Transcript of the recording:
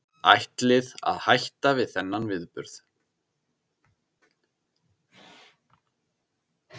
Ætlið að hætta við þennan viðburð?